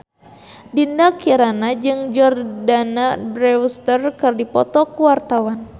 Dinda Kirana jeung Jordana Brewster keur dipoto ku wartawan